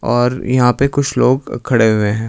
और यहां पे कुछ लोग खड़े हुए हैं।